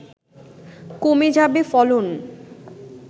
কমে যাবে ফলন